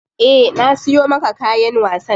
Eh na siyo maka kayan wasan.